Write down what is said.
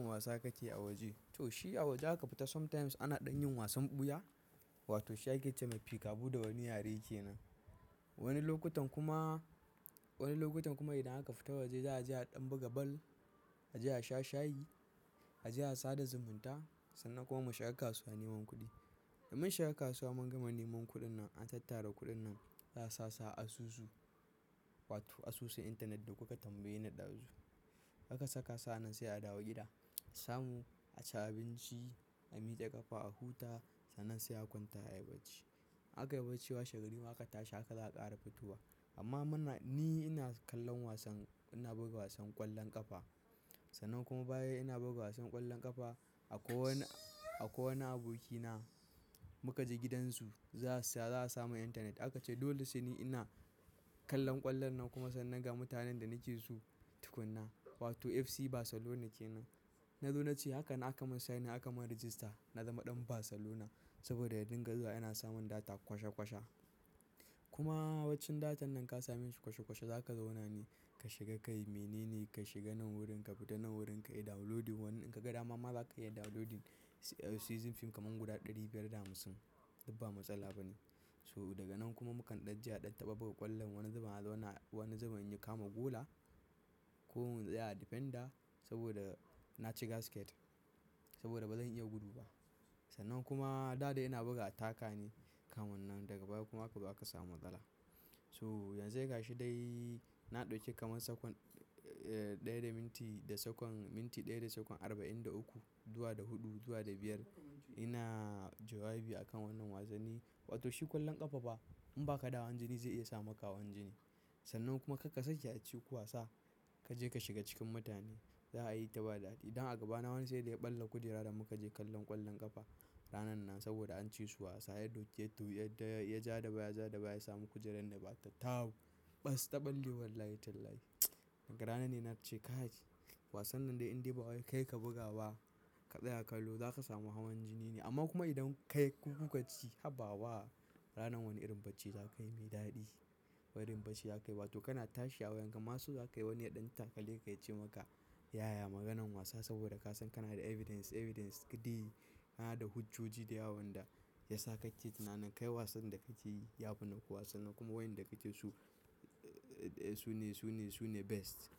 Wasan wasa kake yi a waje. To shi a waje aka fita sometimes ana ɗan yin wasan ɓuya wato shiga keta mafi kabu da wani yare kenan. Wani lokutan kuma, wani lokutan kuma idan aka fita waje za a je a ɗan buga bal, a je a sha shayi, a je a sada zumunta sannan kuma mu shiga kasuwa neman kuɗi. Da mun shiga kasuwa mun gama neman kuɗin nan an tattara kuɗin nan za a sasa asusu wato asusu intanet da kuka tambaye na ɗazu. A ka saka sa'an nan sai a dawo gida, samu a ci abinci, a miƙa kafa a huta sannan sai a kwanta ayi bacci. Aka yi bacci washe gari ma aka tashi aka za'a ƙara fitowa. Amma muna, ni ina kallon wasan, ina buga wasan ƙwallon ƙafa. Sannan kuma baya ina buga wasan ƙwallon ƙafa akwai wani, akwai wani abokina muka je gidansu za su, za a samu intanet aka ce dole shi ne ina kallon ƙwallon nan kuma sannan ga mutanen da nake so tukuna wato FC Barcelona kenan. Na lona ce haka na aka mun sign in aka mun register na zama ɗan Barcelona saboda ya dinga zuwa yana samun data kwashe kwashe. Kuma waccan datan nan ka sami shi kwashe kwashe za ka zauna ne ka shiga kai mene ne ka shiga nan wurin ka fita nan wurin ka yi downloading wani in ka ga dama ma za ka iya downloading season fim kamar guda ɗari biyar da hamsin. Dubba matsala ba ne. So daga nan kuma mukan ɗan je a ɗan taɓa buga ƙwallon wani zaman zauna, wani zaman in yi kama gola ko in tsaya a defender saboda na ci gasket saboda ba zan iya gudu ba. Sannan kuma dada yana buga attacka ne kamun nan daga baya kuma akaba aka samu matsala. So yanzai gashi dai na ɗauke kamar sakwan, eh ɗaya da minti da sakon minti ɗaya da sakon arba'in da uku zuwa da huɗu zuwa da biyar ina jawabi a kan wannan wasanni. Wato shi ƙwallon ƙafa ba in ba ka da hawan jini zai iya sa maka hawan jini. Sannan kuma karka sake a ci wasa kaje ka shiga cikin mutane za a yi ta ba daɗi. Idan a gaba na wani sai da ya ɓalla kujera da muka je kallon ƙwallon ƙafa ranan nan saboda an ci su wasa ya ɗauke to ya, ya ja da baya, ja da baya ya samu kujerar nan ba ta tahau. Bas taɓalle wallahi ten lai. Daga ranan ne na ce ka yi wasan nan dai in dai ba wai kai ka buga ba ka tsaya kallo za ka samu hawan jini ne amma kuma idan kai ku-ku ka ci habawa ranan wani irin bacci za ka yi mai daɗi. Wani irin bacci za ka yi wato kana tashi a wayan gama su za ka yi wani ɗan takale ya ce maka yaya maganan wasa saboda ka san kana da evidence, evidence didde Kana da hujoji da yawon da ya sa ka ce tunanan kai wasan da ka ce yafi nan kuwa wasan nan kuma wayen da ka ce su, su ne, su ne, su ne best.